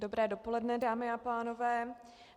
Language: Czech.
Dobré dopoledne, dámy a pánové.